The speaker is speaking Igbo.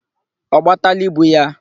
Ọ gbataala ibu ya?